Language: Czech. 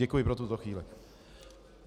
Děkuji pro tuto chvíli.